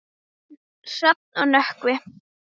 Hrafn og Nökkvi.